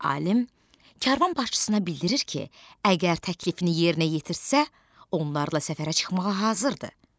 Alim karvan başçısına bildirir ki, əgər təklifini yerinə yetirtsə, onlarla səfərə çıxmağa hazırdır.